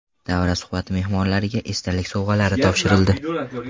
Davra suhbati mehmonlariga esdalik sovg‘alar topshirildi.